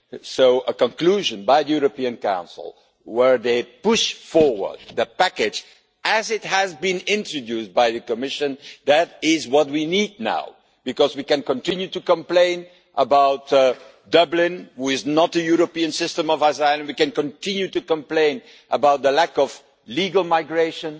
So a conclusion by the European Council, where they push forward the package as it has been introduced by the Commission is what we need now, because we can continue to complain about Dublin, which is not a European system of asylum, we can continue to complain about the lack of legal migration